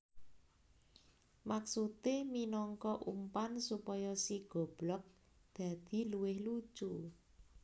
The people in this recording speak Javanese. Maksudé minangka umpan supaya si goblog dadi luwih lucu